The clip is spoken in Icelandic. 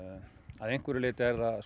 að einhverju leyti